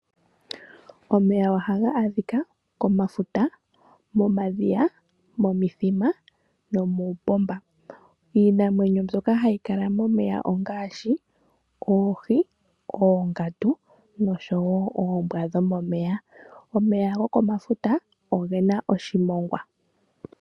Omeya ohaga adhika komafuta, momadhiya, momithima nomuupomba. Iinamwenyo mbyoka hayi kala momeya ngaashi oohi, oongandu nosho woo oombwa dhomomeya. Omeya gokomafuta ogena oshimongwa.